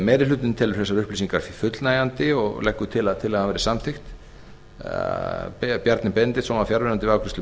meiri hlutinn telur þessar upplýsingar fullnægjandi og leggur til að tillagan verði samþykkt bjarni benediktsson var fjarverandi við